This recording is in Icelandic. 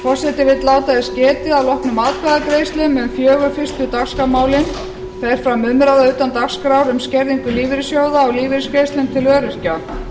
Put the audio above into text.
forseti vill láta þess getið að að loknum atkvæðagreiðslum um fjögur fyrstu dagskrármálin fer fram umræða utan dagskrár um skerðingu lífeyrissjóða og lífeyrisgreiðslum til öryrkja